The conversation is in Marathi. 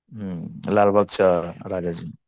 हुं लालबागच्या राजाची.